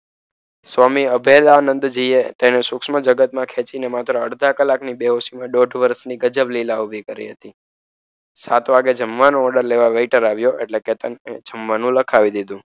સ્વામી અભિદાનંદ છીએ જીએ તેને સૂક્ષ્મ જગતમાં ખેંચીને માત્ર અડધાં કલાકની બેહોશી ને દોઢ વર્ષની ગજબ લીલા ઊભી કરી હતી. સાત વાગે જમવાનું ઓર્ડર લેવા વેઇટર આવ્યો એટલે કેતન મેનુ લખાવી દીધું.